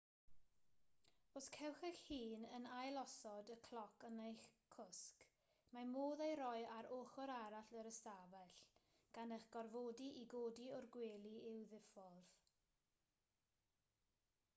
os cewch eich hun yn ailosod y cloc yn eich cwsg mae modd ei roi ar ochr arall yr ystafell gan eich gorfodi i godi o'r gwely i'w ddiffodd